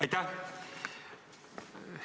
Aitäh!